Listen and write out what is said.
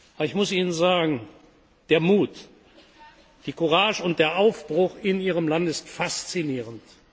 Aber ich muss Ihnen sagen, der Mut, die Courage und der Aufbruch in Ihrem Land ist faszinierend.